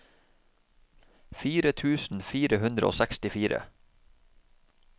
fire tusen fire hundre og sekstifire